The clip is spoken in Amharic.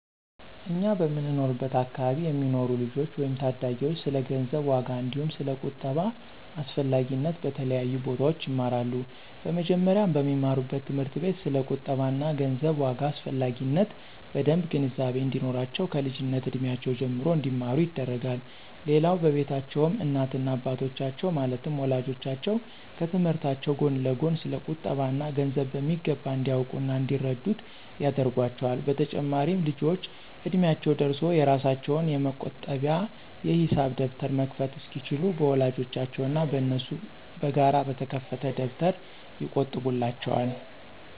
እኛ በምንኖርበት አከባቢ የሚኖሩ ልጆች ወይም ታዳጊዎች ስለ ገንዘብ ዋጋ አንዲሁም ስለ ቁጠባ አስፈላጊነት በተለያዩ ቦታዎች ይማራሉ። በመጀመሪያም በሚማሩበት ትምህርት ቤት ስለ ቁጠባ እና ገንዘብ ዋጋ አስፈላጊነት በደምብ ግንዛቤ እንዲኖራቸው ከልጅነት እድሜያቸው ጀምሮ እንዲማሩ ይደረጋል። ሌላው በቤታቸውም እናት እና አባቶቻቸው ማለትም ወላጆቻቸው ከትምህርታቸው ጎን ለጎን ስለ ቁጠባ እና ገንዘብ በሚገባ እንዲያውቁ እና እንዲረዱት ያደርጓቸዋል። በተጨማሪም ልጆቹ እድሚያቸው ደርሶ የራሳቸውን የመቆጠቢያ የሂሳብ ደብተር መክፈት እስኪችሉ በወላጆቻቸው እና በነሱ በጋራ በተከፈተ ደብተር ይቆጥቡላቸዋል።